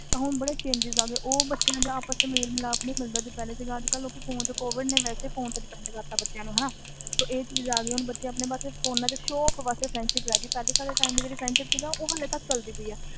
ਹੁਣ ਬੜੇ changes ਆ ਗਏ ਆਪਸ ਵਿਚ ਮੇਲ ਮਿਲਾਪ ਨਹੀਂ ਮਿਲਦੇ ਅਜੇ ਵਾਸੇ ਵੀ ਕੋਵਿਡ ਨੇ ਫੋਨ ਤੇ depend ਕਰਤਾ ਤੇ ਹੁਣ ਚੀਜ਼ ਆ ਗਈ ਹੁਣ ਫੋਨ ਤੇ ਬੱਚੇ ਵੀ time pASS ਆ ਸਾਡੇ ਵਾਲੀ friendship ਅਜੇ ਤਕ ਵੀ ਚਲ ਜਾਂਦੀ